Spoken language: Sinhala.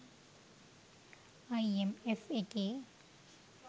අයිඑම් එෆ් එකේ